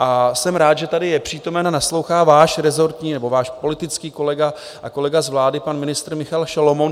A jsem rád, že tady je přítomen a naslouchá váš rezortní nebo váš politický kolega a kolega z vlády pan ministr Michal Šalomoun.